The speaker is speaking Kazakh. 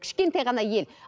кішкентай ғана ел